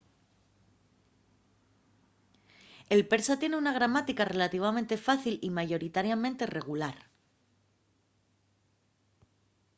el persa tien una gramática relativamente fácil y mayoritariamente regular